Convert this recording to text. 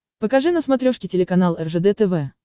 покажи на смотрешке телеканал ржд тв